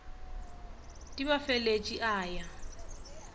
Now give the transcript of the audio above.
di ba feletše a ya